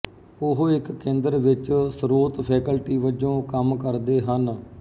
ਉਹ ਇੱਕ ਕੇਂਦਰ ਵਿੱਚ ਸਰੋਤ ਫੈਕਲਟੀ ਵਜੋਂ ਕੰਮ ਕਰਦੇ ਹਨ